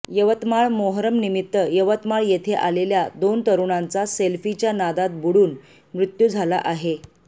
यवतमाळ मोहरमनिमित्त यवतमाळ येथे आलेल्या दोन तरुणांचा सेल्फीच्या नादात बुडुन मृत्यू झाला आहे